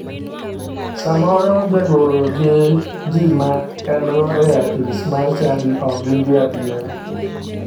Samoro jagoro gi ji ma engo e apis mar chadi ok gin jo adiera.